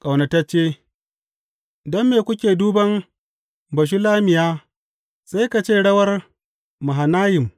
Ƙaunatacce Don me kuke duban Bashulammiya sai ka ce rawar Mahanayim?